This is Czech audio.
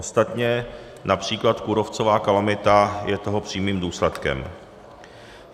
Ostatně například kůrovcová kalamita je toho přímým důsledkem.